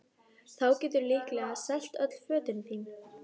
Þá geturðu líklega selt öll fötin þín